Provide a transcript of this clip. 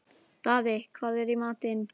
Daði, hvað er í matinn?